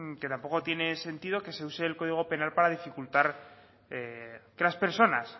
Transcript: que tampoco tiene sentido que se use el código penal para dificultar que las personas